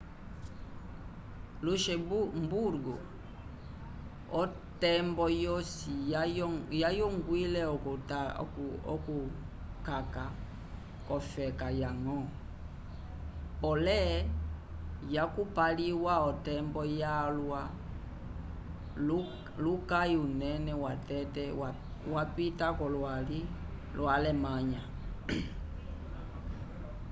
luxemburgo otembo yosi yayongwile okukaka k'ofeka yañgo pole yakupaliwa otembo yalwa luyaki unene watete yapita k'olwali lo alemanha